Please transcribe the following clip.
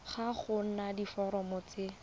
ga go na diforomo tse